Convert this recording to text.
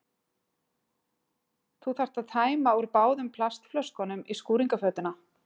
Þú þarft að tæma úr báðum plastflöskunum í skúringafötuna.